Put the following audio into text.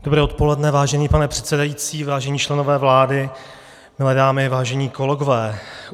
Dobré odpoledne, vážený pane předsedající, vážení členové vlády, milé dámy, vážení kolegové.